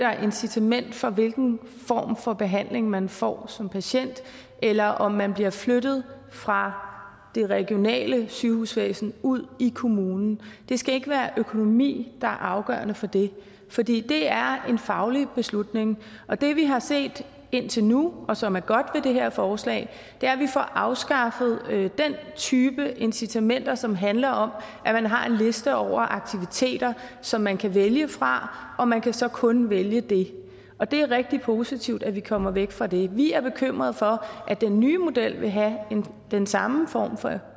der er incitament for hvilken form for behandling man får som patient eller om man bliver flyttet fra det regionale sygehusvæsen ud i kommunen det skal ikke være økonomi der er afgørende for det fordi det er en faglig beslutning og det vi har set indtil nu og som er godt ved det her forslag er at vi får afskaffet den type incitament som handler om at man har en liste over aktiviteter som man kan vælge fra og man kan så kun vælge det og det er rigtig positivt at vi kommer væk fra det vi er bekymrede for at den nye model vil have den samme form for